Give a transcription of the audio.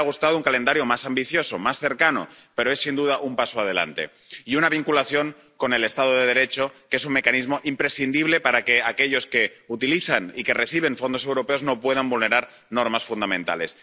Nos hubiera gustado un calendario más ambicioso, más cercano, pero es sin duda un paso adelante. Y un mecanismo de vinculación con el Estado de Derecho, que es un mecanismo imprescindible para que aquellos que utilizan y que reciben fondos europeos no puedan vulnerar normas fundamentales.